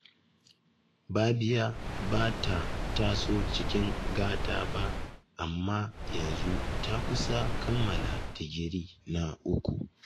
Babiya ba ta taso cikin gata ba, amma yanzu ta kusa kammala digiri na uku